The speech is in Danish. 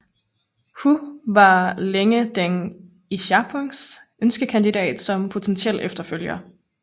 Hu var længe Deng Xiaopings ønskekandidat som potentiel efterfølger